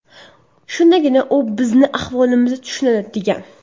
Shundagina u bizning ahvolimizni tushunadi”, degan.